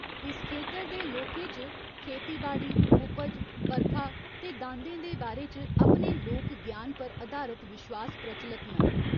इस खेतर दे लोकें च खेतीबाड़ी, उपज, बरखा ते दांदें दे बारे च अपने लोक ज्ञान पर अधारत विश्वास प्रचलत न।